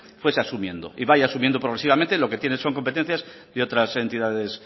fuese asumiendo y vaya asumiendo progresivamente lo que tienen son competencias de otras entidades